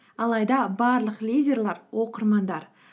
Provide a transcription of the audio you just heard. алайда барлық лидерлер оқырмандар